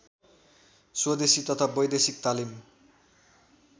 स्वदेशी तथा वैदेशिक तालिम